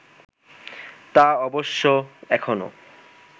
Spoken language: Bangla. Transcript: তা অবশ্য এখনও